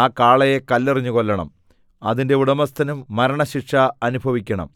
ആ കാളയെ കല്ലെറിഞ്ഞു കൊല്ലണം അതിന്റെ ഉടമസ്ഥനും മരണശിക്ഷ അനുഭവിക്കണം